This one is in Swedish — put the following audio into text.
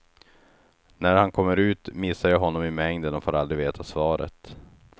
När han kommer ut missar jag honom i mängden och får aldrig veta svaret.